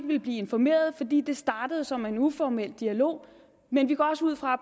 ville blive informeret i det startede som en uformel dialog men vi går også ud fra at